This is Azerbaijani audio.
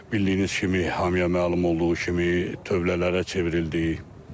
Bildiyiniz kimi, hamıya məlum olduğu kimi, tövlələrə çevrildi.